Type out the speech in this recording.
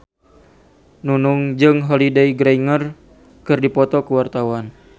Nunung jeung Holliday Grainger keur dipoto ku wartawan